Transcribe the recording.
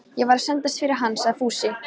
Ég var að sendast fyrir hann, sagði Fúsi.